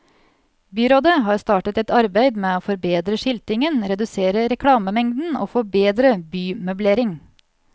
Byrådet har startet et arbeid med å forbedre skiltingen, redusere reklamemengden og få bedre bymøblering.